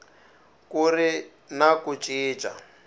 ku ri na ku cinca